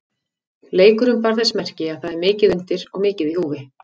Leikurinn bar þess merki að það er mikið undir og mikið í húfi.